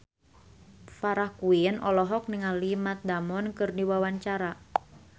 Farah Quinn olohok ningali Matt Damon keur diwawancara